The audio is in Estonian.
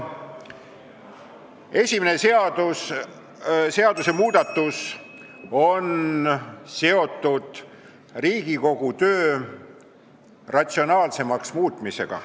Esimene seadusmuudatus on seotud Riigikogu töö ratsionaalsemaks muutmisega.